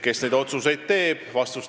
Kes neid otsuseid teeb?